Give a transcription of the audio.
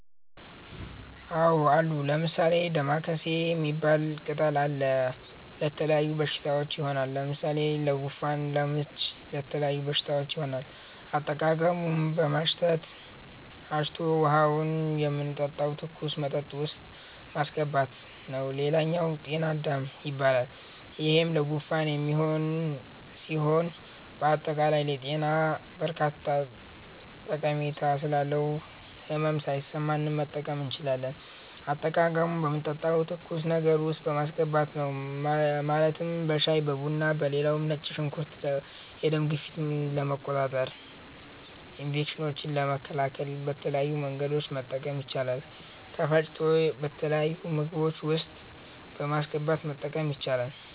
አዎ አሉ። ለምሣሌ፦ ደማከሴ ሚባል ቅጠል አለ። ለተለያዩ በሽታዎች ይሆናል። ለምሣሌ ለጉንፋን፣ ለምች ለተለያዩ በሽታዎች ይሆናል። አጠቃቀሙም በማሽተት፣ አሽቶ ውሀውን የምንጠጣው ትኩስ መጠጥ ውስጥ ማሥገባት ነዉ ሌላኛው ጤና -አዳም ይባላል ይሄም ለጉንፋን የሚሆን ሢሆን በአጠቃላይ ለጤና በርካታ ጠሜታ ስላለው ህመም ሣይሠማንም መጠቀም እንችላለን። አጠቃቀሙም በምንጠጣው ትኩስ ነገር ውስጥ ማስገባት ነው ማለትም በሻይ(በቡና ) ሌላው ነጭ ሽንኩርት የደም ግፊትን ለመቆጣጠር፣ ኢንፌክሽኖችን ለመከላከል በተለያዩ መንገዶች መጠቀም ይቻላል ተፈጭቶ በተለያዩ ምግቦች ውስጥ በማስገባት መጠቀም ይቻላል።